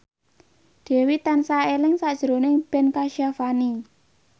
Dewi tansah eling sakjroning Ben Kasyafani